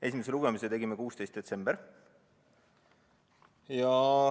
Esimese lugemise tegime 16. detsembril.